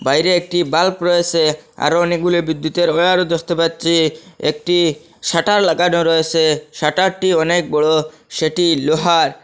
বাইরে একটি বাল্ব রয়েসে আরও অনেকগুলি বিদ্যুতের ওয়্যারও দেখতে পাচ্ছি একটি শাটার লাগানো রয়েসে শাটারটি অনেক বড় সেটি লোহার।